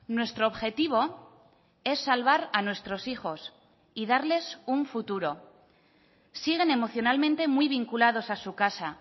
nuestro objetivo es salvar a nuestros hijos y darles un futuro siguen emocionalmente muy vinculados a su casa